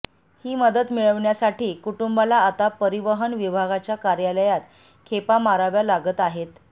ही मदत मिळण्यासाठी कुटुंबाला आता परिवहन विभागाच्या कार्यालयात खेपा माराव्या लागत आहेत